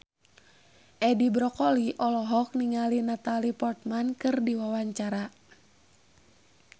Edi Brokoli olohok ningali Natalie Portman keur diwawancara